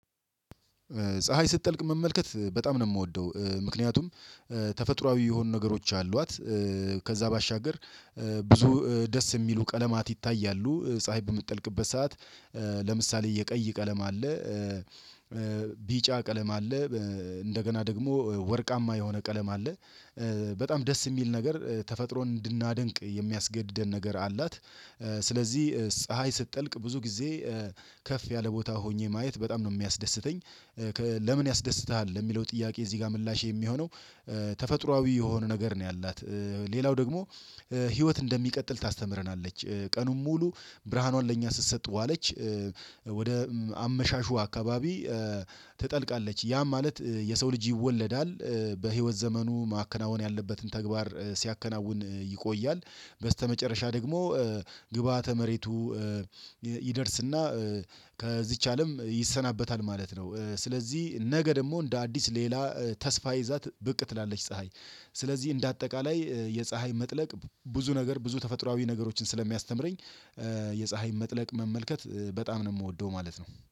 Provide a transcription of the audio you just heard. ፀሀይ ስትጠልቅ መመልከት በጣም ነው የምወደው ምክንያቱም ተፈጥሮአዊ የሆኑ ነገሮች አሏት ከዛ ባሻገር ብዙ ደስ የሚሉ ቀለማት ይታያሉ። ፀሀይ በምትጠልቅበት ሰዓት። ለምሳሌ የቀይ ቀለም አለ። ቢጫ ቀለም አለ። እንደገና ደግሞ ወርቃማ የሆነ ቀለም አለ። በጣም ደስ የሚል ነገር ተፈጥሮ እንድናደንቅ የሚያስገድደን ነገር አላት። ስለዚህ ፀሀይ ስትጠልቅ ብዙ ጊዜ ከፍ ያለ ቦታ ሆኜ ማየት በጣም ነው የሚያስደስተኝ። ለምን ያስደስትሃል ለሚለው ጥያቄ እዚህ ጋር ምላሼ የሚሆነው። ተፈጥሮአዊ የሆነ ነገር ነው ያላት። ሌላው ደግሞ ህይወት እንደሚቀጥል ታስተምረናለች ቀኑን ሙሉ ብርሃኗን ለእኛ ስትሰጥ ዋለች። ወደ አመሻሹ አካባቢ ትጠልቃለች ያ ማለት የሰው ልጅ ይወለዳል በህይወት ዘመኑ ማከናወን ያለበትን ተግባር ሲያከናውን ይቆያል። በመጨረሻ ደግሞ ግብአተ መሬቱ ይደርስና ከዚች አለም ይሰናበታል ማለት ነው። ስለዚህ ነገ ደግሞ እንደ አዲስ ሌላ ተስፋ ይዛ ብቅ ትላለች ፀሀይ። ስለዚህ እንደ አጠቃላይ የፀሀይ መጥለቅ ብዙ ነገር ብዙ ተፈጥሮአዊ ነገሮችን ስለሚያስተምረኝ። የፀሀይ መጥለቅ መመልከት በጣም ነው የምወደው ማለት ነው